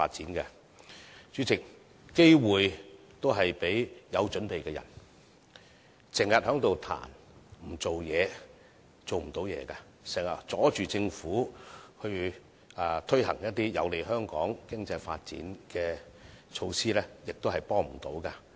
經常批評卻不做事的人，是無法成事的，經常阻礙政府推行有利香港經濟發展的措施，無助香港前進。